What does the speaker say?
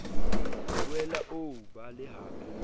boela o o bale hape